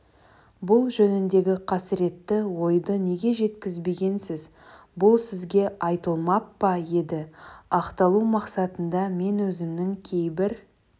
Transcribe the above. бұл жөніндегі қасіретті ойды неге жеткізбегенсіз бұл сізге айтылмап па еді ақталу мақсатында мен өзімнің кейбір